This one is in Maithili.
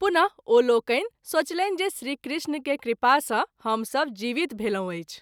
पुन: ओ लोकनि सोचलनि जे श्री कृष्ण के कृपा सँ हम सभ जीवित भेलहुँ अछि।